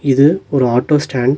இது ஒரு auto stand .